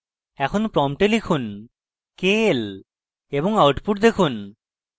এখন prompt লিখুন kl এবং output দেখুন